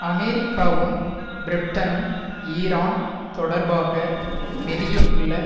அமெரிக்காவும் பிரிட்டனும் ஈரான் தொடர்பாக வெளியிட்டுள்ள